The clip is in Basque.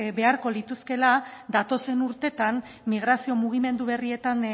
beharko lituzkela datozen urteetan migrazio mugimendu berrietan